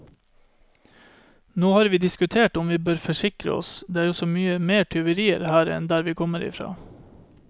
Nå har vi diskutert om vi bør forsikre oss, det er jo så mye mer tyverier her enn der vi kommer fra.